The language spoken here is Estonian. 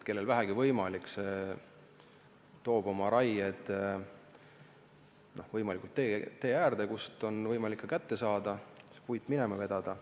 Kellel vähegi võimalik, see toob oma raie tee äärde, kust on võimalik see puit kätte saada ja minema vedada.